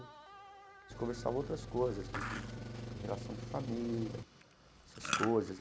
A gente conversava outras coisas, de de de relação de família, essas coisas.